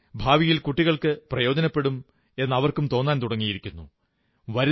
പണം ഭാവിയിൽ കുട്ടികൾക്കു പ്രയോജനപ്പെടും എന്ന് അവർക്കും തോന്നാൻ തുടങ്ങിയിരിക്കുന്നു